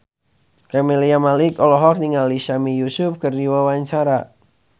Camelia Malik olohok ningali Sami Yusuf keur diwawancara